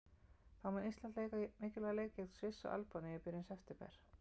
Þá mun Ísland leika mikilvæga leiki gegn Sviss og Albaníu í byrjun september.